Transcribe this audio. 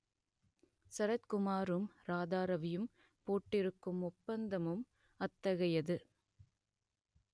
சரத்குமாரும் ராதாரவியும் போட்டிருக்கும் ஒப்பந்தமும் அத்தகையது